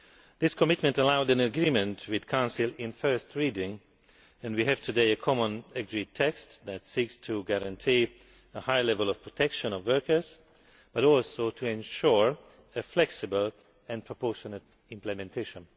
This commitment allowed an agreement with Council at first reading and today we have a common agreed text that seeks to guarantee a high level of protection of workers, but also to ensure flexible and proportionate implementation.